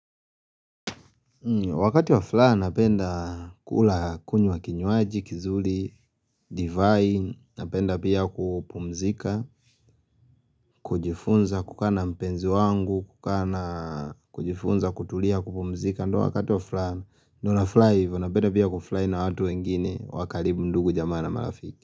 Wakati wa furaha, napenda kula kunywa kinywaji, kizuri, divine, napenda pia kupumzika, kujifunza kukaa na mpenzi wangu, kukaa na kujifunza kutulia kupumzika, ndio wakati wa furaha, ndio nafurahi hivo, napenda pia kufurahi na watu wengine, wa karibu ndugu jamaa na marafiki.